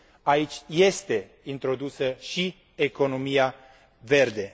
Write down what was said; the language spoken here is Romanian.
aici este introdusă și economia verde.